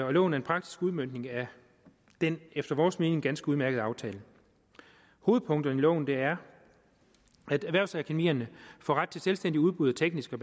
og loven er en praktisk udmøntning af den efter vores mening ganske udmærkede aftale hovedpunkterne i loven er at erhvervsakademierne får ret til selvstændigt udbud af tekniske